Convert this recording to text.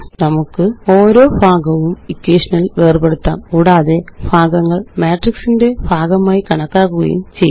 നമുക്ക് ഓരോ ഭാഗവും ഇക്വേഷനില് വേര്പെടുത്താം കൂടാതെ ഭാഗങ്ങള് മാട്രിക്സിന്റെ ഭാഗമായി കണക്കാക്കുകയും ചെയ്യാം